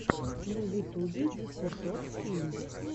на ютубе десертод фильм